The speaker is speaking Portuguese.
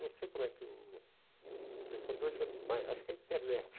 Não sei como é que o o pessoal de hoje é mais, acho que é a internet.